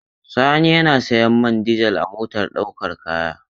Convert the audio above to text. Sani yana sayan man dizel a motar ɗaukar kaya.